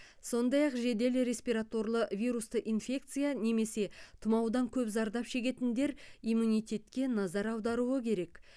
сондай ақ жедел респираторлы вирусты инфекция немесе тұмаудан көп зардап шегетіндер иммунитетке назар аудару керек